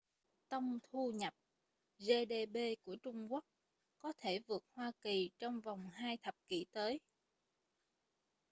tông thu nhập gdp của trung quốc có thể vượt hoa kỳ trong vòng hai thập kỷ tới